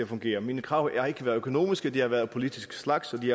fungere mine krav har ikke været økonomiske de har været af politisk art og de